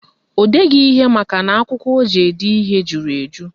O deghị ihe makana akwụkwọ o ji ede ihe juru eju